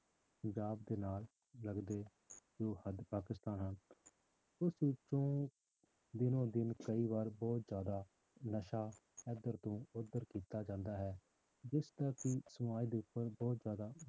ਪੰਜਾਬ ਦੇ ਨਾਲ ਲੱਗਦੇ ਜੋ ਹੱਦ ਪਾਕਿਸਤਾਨ ਹਨ ਉਸ ਵਿੱਚੋਂ ਦਿਨੋਂ ਦਿਨ ਕਈ ਵਾਰ ਬਹੁਤ ਜ਼ਿਆਦਾ ਨਸ਼ਾ ਇੱਧਰ ਤੋਂ ਉੱਧਰ ਕੀਤਾ ਜਾਂਦਾ ਹੈ ਜਿਸਦਾ ਕਿ ਸਮਾਜ ਦੇ ਉੱਪਰ ਬਹੁਤ ਜ਼ਿਆਦਾ,